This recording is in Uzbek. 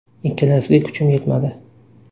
Ikkalasiga kuchim yetmadi.